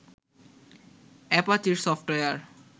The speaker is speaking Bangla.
Apache software